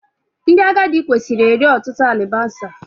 Ndị agadị kwesịrị eri ọtụtụ alibasa